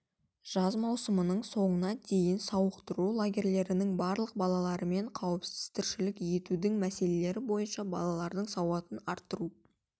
жаз маусымының соңына дейін сауықтыру лагерьлерінің барлық балаларымен қауіпсіз тіршілік етудің мәселелері бойынша балалардың сауатын арттыруға